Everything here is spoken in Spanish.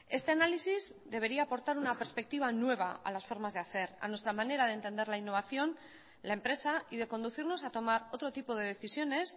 este análisis debería aportar una perspectiva nueva a las formas de hacer a nuestra manera de entender la innovación la empresa y de conducirnos a tomar otro tipo de decisiones